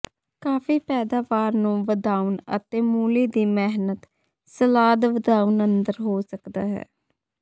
ਕਾਫੀ ਪੈਦਾਵਾਰ ਨੂੰ ਵਧਾਉਣ ਅਤੇ ਮੂਲੀ ਦੀ ਮਿਹਨਤ ਸਲਾਦ ਵਧਾਉਣ ਅੰਦਰ ਹੋ ਸਕਦਾ ਹੈ